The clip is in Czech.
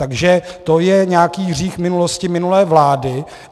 Takže to je nějaký hřích minulosti, minulé vlády.